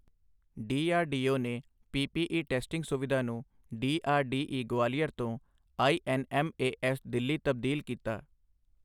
DRDO ਨੇ PPE testing ਸੁਵਿਧਾ ਨੂੰ ਡੀਆਰਡੀਈ ਗਵਾਲੀਅਰ ਤੋਂ ਆਈਐੱਨਐੱਮਏਐੱਸ ਦਿੱਲੀ ਤਬਦੀਲ ਕੀਤਾ